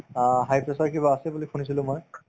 অ, high pressure কিবা আছে বুলি শুনিছিলো মই